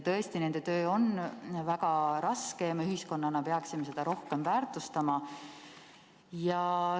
Tõesti, nende töö on väga raske ja me ühiskonnana peaksime seda rohkem väärtustama.